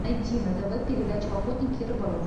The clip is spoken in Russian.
найди на тв передачу охотник и рыболов